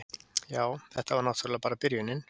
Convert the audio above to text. Já, þetta var náttúrlega bara byrjunin.